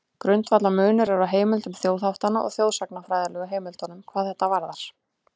Grundvallarmunur er á heimildum þjóðháttanna og þjóðsagnafræðilegu heimildunum hvað þetta varðar.